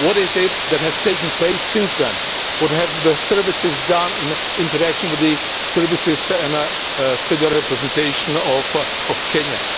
What is it that has taken place since then? What have the services done in interaction with the services and state representatives of Kenya?